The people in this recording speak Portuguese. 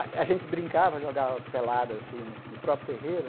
A gente brincava, jogava pelada assim no próprio terreiro.